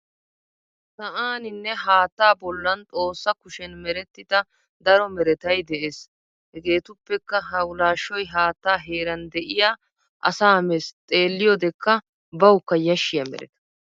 Sa'aninne haattaa bollan xossa kushen merettida daro meratay de'es. Hegeetuppekka hawulaashshoy haattaa heeran diya asaa mes xeelliyodekka bawukka yashshiya mereta.